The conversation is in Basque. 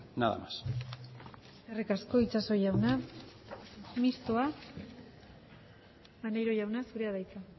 nada más eskerrik asko itxaso jauna mistoa maneiro jauna zurea da hitza